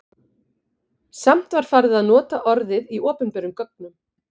Samt var farið að nota orðið í opinberum gögnum.